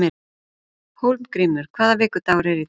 Hólmgrímur, hvaða vikudagur er í dag?